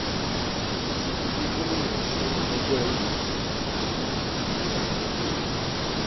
èsì ìdìbò gómìnà ọ̀sẹ̀ ẹgbẹ́ apc àti pdp ń léra wọn lérè